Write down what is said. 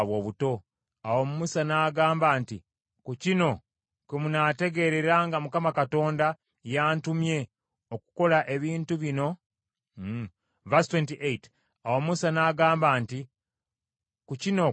Awo Musa n’agamba nti, “Ku kino kwe munaategeerera nga Mukama Katonda y’antumye okukola ebintu bino byonna so tekubadde kutetenkanya kwange.